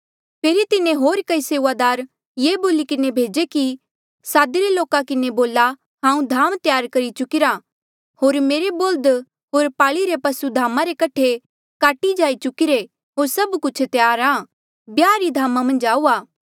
फेरी तिन्हें होर कई सेऊआदार ये बोली किन्हें भेजे कि सादिरे लोका किन्हें बोला हांऊँ धाम त्यार करी चुकिरा होर मेरे बोल्ह्द होर पाली रे पसु धामा रे कठे काटी जाई चुकिरे होर सभ कुछ त्यार आ ब्याह री धामा मन्झ आऊआ